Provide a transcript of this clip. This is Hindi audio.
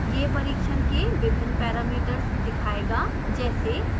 यह परिक्षण के विभिन्न पैरामीटर्स दिखाएगा जैसे